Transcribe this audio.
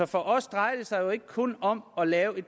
for os drejer det sig jo ikke kun om at lave